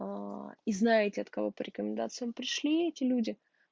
аа и знаете от кого по рекомендациям пришли эти люди